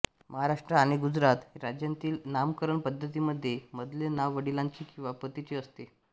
महाराष्ट्र आणि गुजरात राज्यांतील नामकरण पद्धतीमध्ये मधले नाव वडिलांचे किंवा पतीचे असते